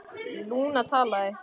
Lúna talaði: